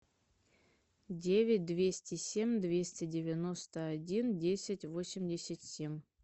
девять двести семь двести девяносто один десять восемьдесят семь